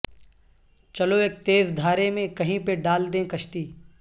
چلو ایک تیز دھارے میں کہیں پہ ڈال دیں کشتی